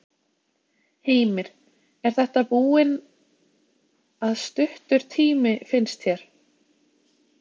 Heimir: Er þetta búinn að stuttur tími, finnst þér?